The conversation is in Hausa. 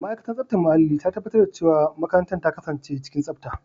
Ma'aikatar tsaftar muhalli ta tabbatar da cewa makarantar ta kasance cikin tsafta.